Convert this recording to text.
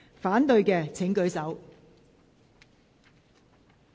反對的請舉手。